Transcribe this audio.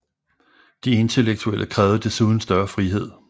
De intellektuelle krævede desuden større frihed